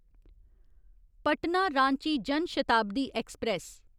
Patna Ranchi Jan Shatabdi express